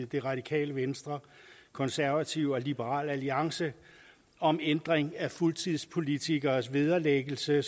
det radikale venstre konservative og liberal alliance om ændring af fuldtidspolitikeres vederlæggelse